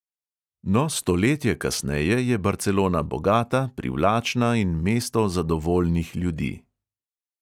No, stoletje kasneje je barcelona bogata, privlačna in mesto zadovoljnih ljudi.